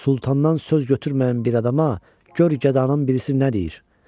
Sultandan söz götürməyən bir adama gör gədanın birisi nə deyir.